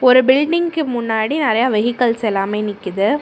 ஒரு பில்டிங்க்கு முன்னாடி நெறையா வெகிக்கல்ஸ் எல்லாமே நிக்குது.